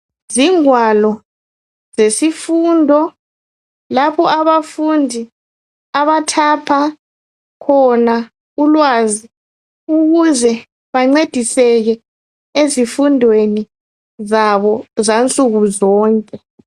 Zingwalo zesifundo lapho abafundi abathapha khona ulwazi, ukuze bancediseke ezifundweni zabo zansuku zonke.